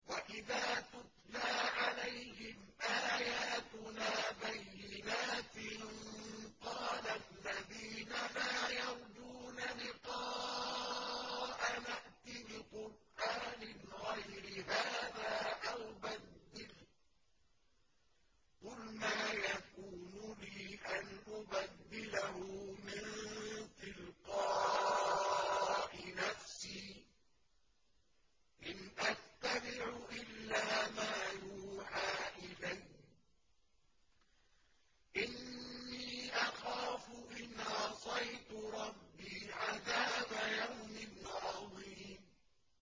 وَإِذَا تُتْلَىٰ عَلَيْهِمْ آيَاتُنَا بَيِّنَاتٍ ۙ قَالَ الَّذِينَ لَا يَرْجُونَ لِقَاءَنَا ائْتِ بِقُرْآنٍ غَيْرِ هَٰذَا أَوْ بَدِّلْهُ ۚ قُلْ مَا يَكُونُ لِي أَنْ أُبَدِّلَهُ مِن تِلْقَاءِ نَفْسِي ۖ إِنْ أَتَّبِعُ إِلَّا مَا يُوحَىٰ إِلَيَّ ۖ إِنِّي أَخَافُ إِنْ عَصَيْتُ رَبِّي عَذَابَ يَوْمٍ عَظِيمٍ